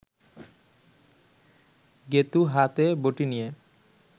গেঁতু হাতে বটি নিয়ে